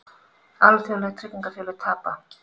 Alþjóðleg tryggingafélög tapa